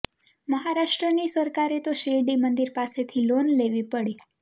મહારાષ્ટ્રની સરકારે તો શિરડી મંદિર પાસેથી લોન લેવી પડી